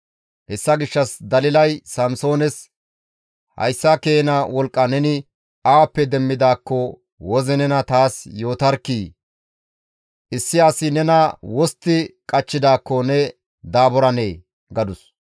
Hessa gishshas Dalilay Samsoones, «Hayssa keena wolqqa neni awappe demmidaakko woze nena taas yootarkkii! Issi asi nena wostti qachchidaakko ne daaburanee?» gadus.